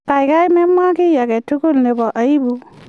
kikai memwa kiy agetugul nebo aibu